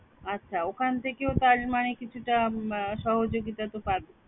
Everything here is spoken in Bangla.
আচ্ছা ওখান থেকেও তার মানে কিছুটা উম সহযোগিতা তো পাবে